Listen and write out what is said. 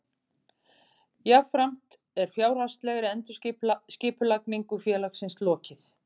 Jafnframt er fjárhagslegri endurskipulagningu félagsins lokið